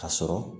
Ka sɔrɔ